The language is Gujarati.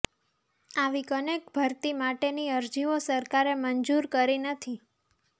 આવી અનેક ભરતી માટેની અરજીઓ સરકારે મંજૂર કરી નથી